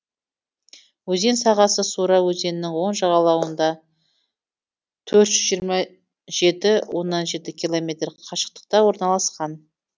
өзен сағасы сура өзенінің оң жағалауынантөрт жүз жиырма жеті оннан жеті километр қашықтықта орналасқан